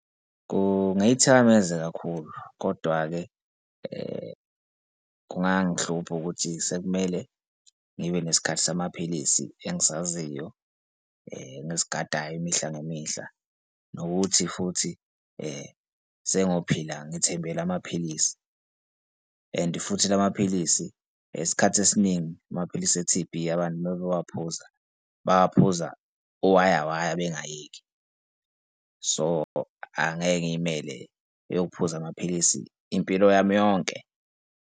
Kungayithakameza kakhulu, kodwa-ke kungangihlupha ukuthi sekumele ngibe nesikhathi samaphilisi engisaziyo engisigadayo imihla nemihla nokuthi futhi sengophila ngithembele amaphilisi and futhi la maphilisi isikhathi esiningi amaphilisi e-T_B abantu uma bewaphuza bawaphuza uwayawaya bengayeki. So, angeke ngiyimele eyokuphuza amaphilisi impilo yami yonke.